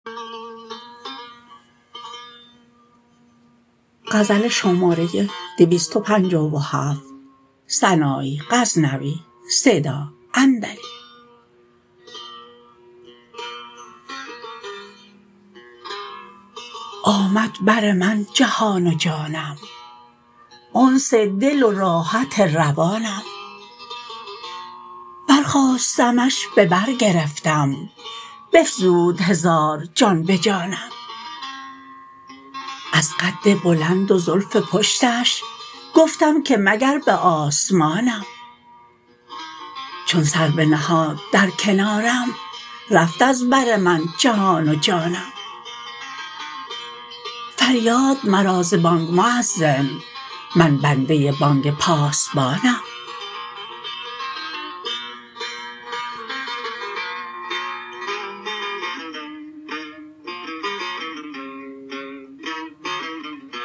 آمد بر من جهان و جانم انس دل و راحت روانم بر خاستمش به بر گرفتم بفزود هزار جان به جانم از قد بلند و زلف پشتش گفتم که مگر به آسمانم چون سر بنهاد در کنارم رفت از بر من جهان و جانم فریاد مرا ز بانگ موذن من بنده بانگ پاسبانم